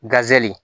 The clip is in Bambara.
Gazeli